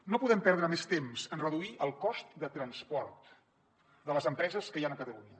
no podem perdre més temps en reduir el cost de transport de les empreses que hi han a catalunya